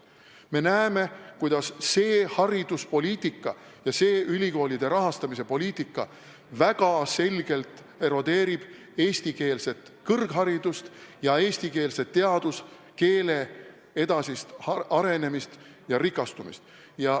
Me näeme, kuidas hariduspoliitika ja ülikoolide rahastamise poliitika väga selgelt erodeerib eestikeelset kõrgharidust ja eestikeelse teaduskeele edasist arenemist ja rikastumist.